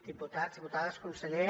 diputats diputades conseller